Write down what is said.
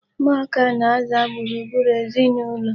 Ụmụaka na-aza gburugburu ezinụlọ.